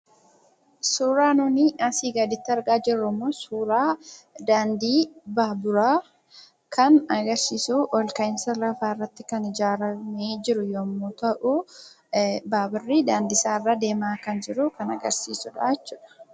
Suuraa nuti asii gaditti argaa jirru kun suuraa daandii baaburaa kan agarsiisudha. Ol ka'iinsa lafaa irratti kan ijaaramee jiru yemmu ta'u baaburri daandii isaarra deemaa kan jiru kan agarsiisudha.